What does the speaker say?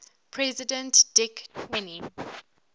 president dick cheney